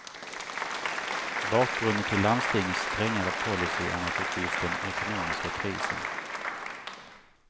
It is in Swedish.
Bakgrunden till landstingens strängare policy är naturligtvis den ekonomiska krisen.